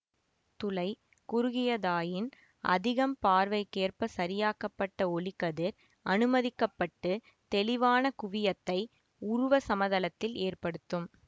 துளை குறுகியதாயின் அதிகம் பார்வைக்கேற்ப சரியாக்கப்பட்ட ஒளிக்கதிர் அனுமதிக்க பட்டு தெளிவான குவியத்தை உருவ சமதளத்தில் ஏற்படுத்தும்